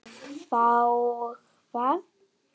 Þá hvað?